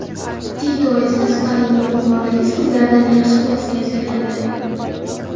Tito esa, Stalinning yuqoridagi so‘zlaridan yaxshi xulosa yasagandi.